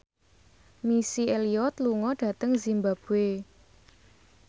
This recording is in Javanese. Missy Elliott lunga dhateng zimbabwe